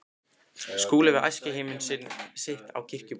Skúli við æskuheimili sitt á Kirkjubóli.